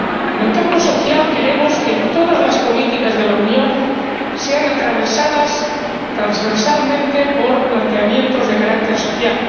En el campo social, queremos que todas las políticas de la Unión sean atravesadas transversalmente por planteamientos de carácter social.